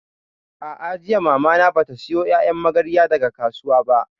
A'a, jiya Mamana bata sayo ƴaƴan magarya daga kasuwa ba